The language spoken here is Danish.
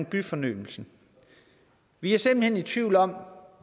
byfornyelsen vi er simpelt hen i tvivl om